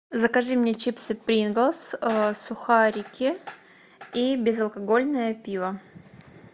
закажи мне чипсы принглс сухарики и безалкогольное пиво